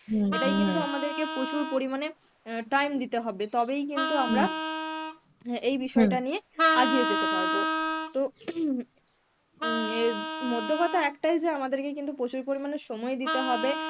এটাই কিন্তু আমাদের কে প্রচুর পরিমানে অ্যাঁ time দিতে হবে তবেই কিন্তু আমরা অ্যাঁ এই বিষয়টা নিয়ে আগিয়ে যেতে পারব. তো উম মোদ্দা কথা একটাই যে আমাদেরকে কিন্তু প্রচুর পরিমানে সময় দিতে হবে